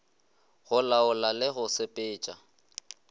go laola le go sepetša